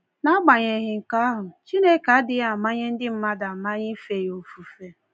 N’agbanyeghị nke ahụ, Chineke adịghị amanye ndị mmadụ amanye ife ya ofufe.